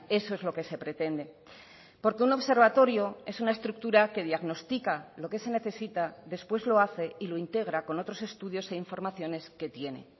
eso es lo que se pretende porque un observatorio es una estructura que diagnostica lo que se necesita después lo hace y lo integra con otros estudios e informaciones que tiene